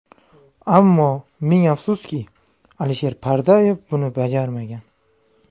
Ammo ming afsuski, Alisher Pardayev buni bajarmagan.